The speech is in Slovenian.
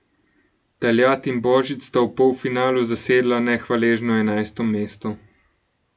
Taljat in Božič sta v polfinalu zasedla nehvaležno enajsto mesto.